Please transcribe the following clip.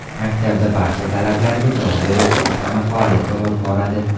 Maktabda barcha talablarga javob beruvchi oshxona faoliyat olib boradi.